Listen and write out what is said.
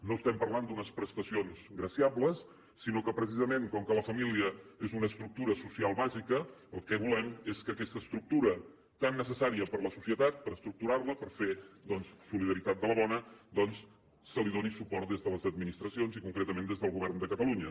no estem parlant d’unes prestacions graciables sinó que precisament com que la família és una estructura social bàsica el que volem és que aquesta estructura tan necessària per a la societat per estructurar la per fer doncs solidaritat de la bona se li doni suport des de les administracions i concretament des del govern de catalunya